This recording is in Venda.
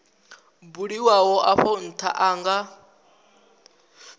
buliwaho afho ntha a nga